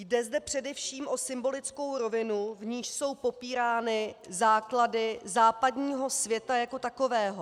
Jde zde především o symbolickou rovinu, v níž jsou popírány základy západního světa jako takového.